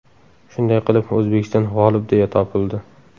Shunday qilib, O‘zbekiston g‘olib deya topildi.